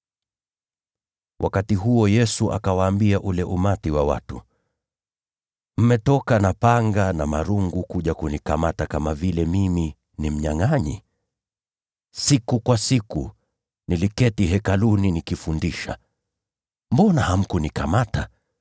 Wakati huo, Yesu akawaambia ule umati wa watu, “Je, mmekuja na panga na marungu kunikamata kana kwamba mimi ni mnyangʼanyi? Siku kwa siku niliketi Hekaluni nikifundisha, mbona hamkunikamata?